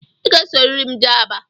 Ị ga-esorịrị m jee Aba!